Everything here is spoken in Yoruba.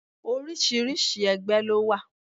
Oríṣiríṣi ẹgbẹ́ ló wà.